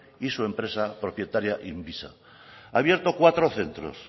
y su empresa propietaria inviza ha abierto cuatro centros